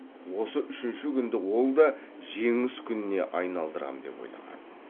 осы үшінші күнді ол да жеңіс күніне айналдырам деп ойлаған